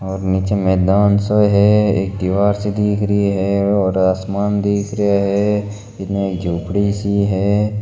और निचे मैदान सो है एक दिवार सी दिखरी है और आसमान दिखरो है इने एक झोपडी सी है।